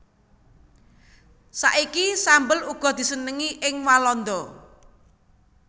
Saiki sambel uga disenengi ing Walanda